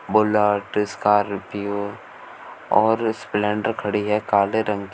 Bullet Scorpio और Splendor खड़ी है काले रंग की।